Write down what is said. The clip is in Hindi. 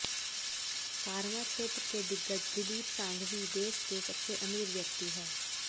फार्मा क्षेत्र के दिग्गज दिलीप संघवी देश के सबसे अमीर व्यक्ति हैं